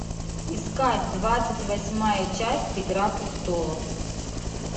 искать двадцать восьмая часть игра престолов